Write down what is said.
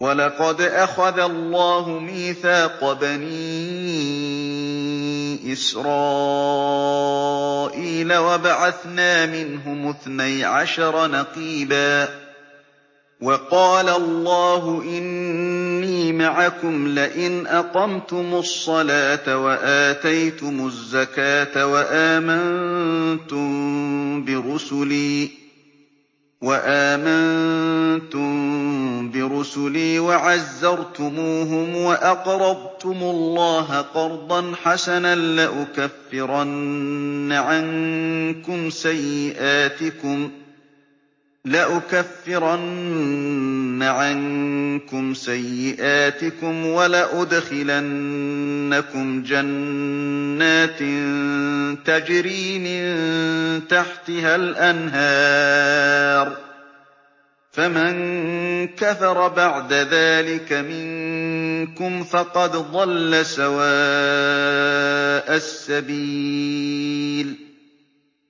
۞ وَلَقَدْ أَخَذَ اللَّهُ مِيثَاقَ بَنِي إِسْرَائِيلَ وَبَعَثْنَا مِنْهُمُ اثْنَيْ عَشَرَ نَقِيبًا ۖ وَقَالَ اللَّهُ إِنِّي مَعَكُمْ ۖ لَئِنْ أَقَمْتُمُ الصَّلَاةَ وَآتَيْتُمُ الزَّكَاةَ وَآمَنتُم بِرُسُلِي وَعَزَّرْتُمُوهُمْ وَأَقْرَضْتُمُ اللَّهَ قَرْضًا حَسَنًا لَّأُكَفِّرَنَّ عَنكُمْ سَيِّئَاتِكُمْ وَلَأُدْخِلَنَّكُمْ جَنَّاتٍ تَجْرِي مِن تَحْتِهَا الْأَنْهَارُ ۚ فَمَن كَفَرَ بَعْدَ ذَٰلِكَ مِنكُمْ فَقَدْ ضَلَّ سَوَاءَ السَّبِيلِ